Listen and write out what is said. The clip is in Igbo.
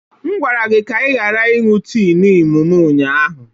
M gwara gị ka ị ghara ịṅụ tii Niimu m ụnyaahụ!